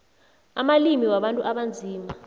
amalimi wabantu abanzima